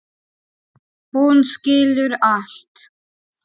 Hún skilur allt.